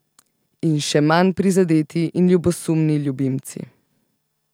In še manj prizadeti in ljubosumni ljubimci.